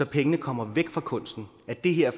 pengene kommer væk fra kunsten det her